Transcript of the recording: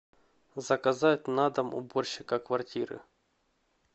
заказать на дом уборщика квартиры